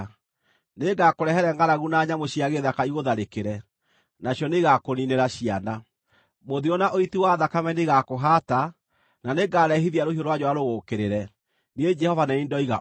Nĩngakũrehere ngʼaragu na nyamũ cia gĩthaka igũtharĩkĩre, nacio nĩigakũniinĩra ciana. Mũthiro na ũiti wa thakame nĩigakũhaata, na nĩngarehithia rũhiũ rwa njora rũgũũkĩrĩre. Niĩ Jehova nĩ niĩ ndoiga ũguo.”